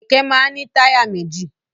Kẹ̀kẹ́ máa ń ní táyà méjì.